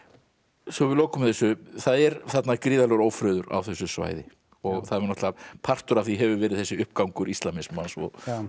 svo við lokum þessu það er þarna gríðarlegur ófriður á þessu svæði og partur af því hefur verið þessi uppgangur íslamismans og